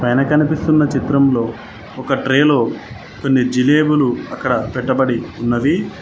కనిపిస్తున్న చిత్రంలో ఒక ట్రేలో కొన్ని జిలేబిలు అక్కడ పెట్టబడి ఉన్నవి.